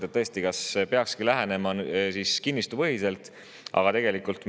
Kas tõesti peaks lähenema siis kinnistupõhiselt?